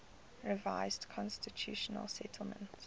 revised constitutional settlement